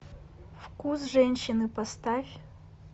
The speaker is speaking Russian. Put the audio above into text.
вкус женщины поставь